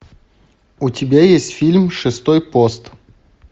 у тебя есть фильм шестой пост